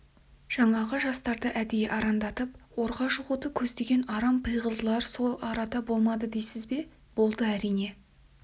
жаңағы жастарды әдейі арандатып орға жығуды көздеген арам пиғылдылар сол арада болмады дейсіз бе болды әрине